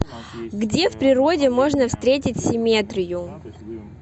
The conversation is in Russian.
где в природе можно встретить симметрию